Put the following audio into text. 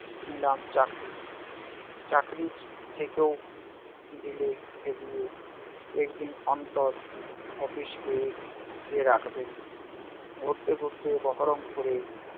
নিলাম চাকরি। চাকরি থেকেও দিলে খেদিয়ে। একদিন অন্তর অপিস গিয়ে কে রাখবে? ঘুরতে ঘুরতে বহরমপুরে